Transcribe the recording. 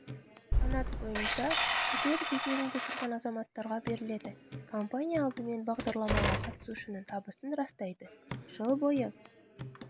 санат бойынша пәтер кезегінде тұрған азаматтарға беріледі компания алдымен бағдарламаға қатысушының табысын растайды жыл бойы